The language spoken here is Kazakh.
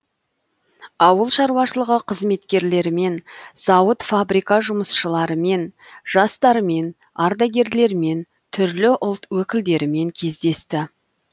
ауыл шаруашылығы қызметкерлерімен зауыт фабрика жұмысшыларымен жастармен ардагерлермен түрлі ұлт өкілдерімен кездесті